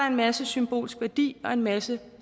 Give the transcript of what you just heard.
en masse symbolsk værdi og en masse